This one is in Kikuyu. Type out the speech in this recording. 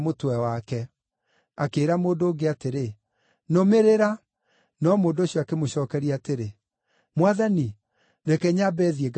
Akĩĩra mũndũ ũngĩ atĩrĩ, “Nũmĩrĩra.” No mũndũ ũcio akĩmũcookeria atĩrĩ, “Mwathani, reke nyambe thiĩ ngathike baba.”